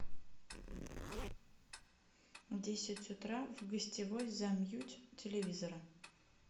в десять утра в гостевой замьють телевизора